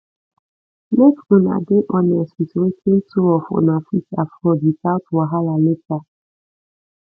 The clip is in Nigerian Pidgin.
make una dey honsest with wetin two of una fit afford without wahala later